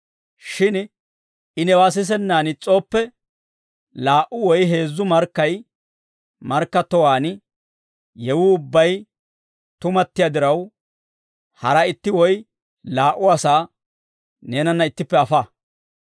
Shin I newaa sisennaan is's'ooppe, laa"u woy heezzu markkay markkattowaan yewuu ubbay tumattiyaa diraw, hara itti woy laa"u asaa neenanna ittippe afa.